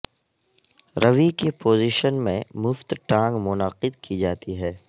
روی کی پوزیشن میں مفت ٹانگ منعقد کی جاتی ہے